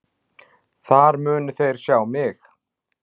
Þar munu þeir sjá mig.